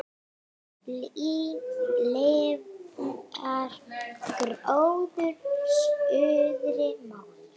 Lifnar gróður suðri mót.